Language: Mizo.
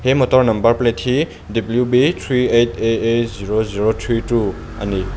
he motor number plate hi w b three eight a a zero zero three two ani.